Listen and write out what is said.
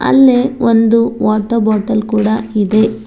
ಇಲ್ಲಿ ಒಂದು water bottle ಕೂಡ ಇದೆ.